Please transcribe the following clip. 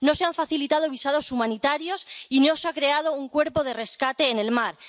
no se han facilitado visados humanitarios y no se ha creado un cuerpo de rescate en el mar.